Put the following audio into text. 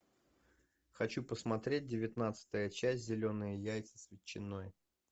хочу посмотреть девятнадцатая часть зеленые яйца с ветчиной